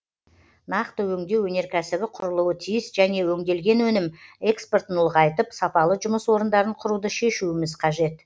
нақты өңдеу өнеркәсібі құрылуы тиіс және өңделген өнім экспортын ұлғайтып сапалы жұмыс орындарын құруды шешуіміз қажет